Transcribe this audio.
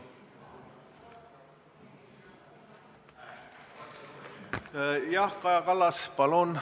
Jah, Kaja Kallas, palun!